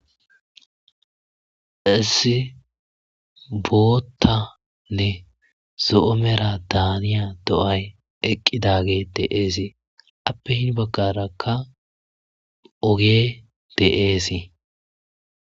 issi boottanne zo'o mera daaniya do'ay eqqidagey de'esi appe hin baggarakka ogey de'esii